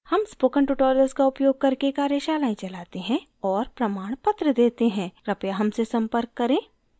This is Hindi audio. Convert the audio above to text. हम spoken tutorials का उपयोग करके कार्यशालाएं चलाते हैं और प्रमाणपत्र देते हैं कृपया हमसे संपर्क करें